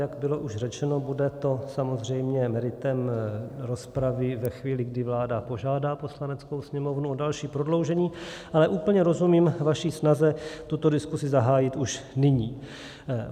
Jak bylo už řečeno, bude to samozřejmě meritem rozpravy ve chvíli, kdy vláda požádá Poslaneckou sněmovnu o další prodloužení, ale úplně rozumím vaši snaze tuto diskuzi zahájit už nyní.